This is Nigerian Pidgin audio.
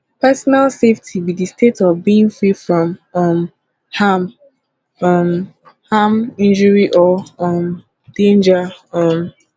personal safety be di state of being free from um harm um harm injury or um danger um